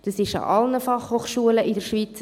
Das gilt für alle Fachhochschulen in der Schweiz.